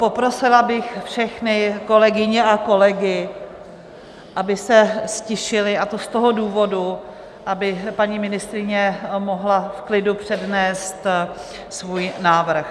Poprosila bych všechny kolegyně a kolegy, aby se ztišili, a to z toho důvodu, aby paní ministryně mohla v klidu přednést svůj návrh.